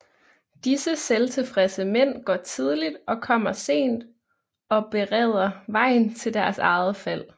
Disse selvtilfredse mænd går tidligt og kommer sent og bereder vejen til deres eget fald